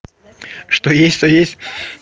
что есть то есть